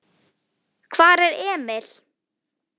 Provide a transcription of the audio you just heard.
Hvar er Emil?